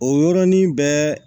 O yɔrɔnin bɛɛ